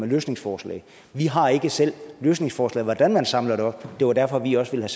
løsningsforslag vi har ikke selv løsningsforslag til hvordan man samler det op og det var derfor vi også ville